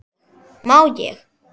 Má ég?